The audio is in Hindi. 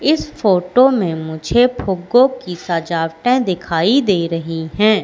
इस फोटो में मुझे फुगे की सजावटे दिखाई दे रही है।